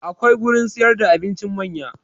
Akwai gurin siyar da abincin manya